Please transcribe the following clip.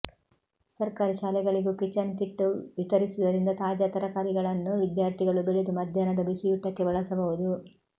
ಸರ್ಕಾರಿ ಶಾಲೆಗಳಿಗೂ kitchen kit ವಿತರಿಸುವುದರಿಂದ ತಾಜಾ ತರಕಾರಿಗಳನ್ನು ವಿದ್ಯಾರ್ಥಿಗಳು ಬೆಳೆದು ಮಧ್ಯಾಹ್ನದ ಬಿಸಿಯೂಟಕ್ಕೆ ಬಳಸಬಹುದು